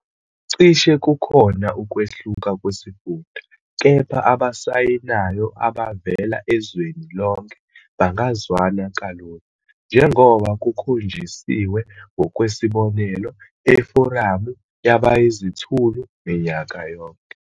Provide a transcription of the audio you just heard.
Cishe kukhona ukwehluka kwesifunda, kepha abasayinayo abavela ezweni lonke bangazwana kalula, njengoba kukhonjisiwe ngokwesibonelo eForamu Yabayizithulu minyaka yonke.